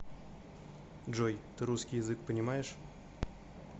джой ты русский язык понимаешь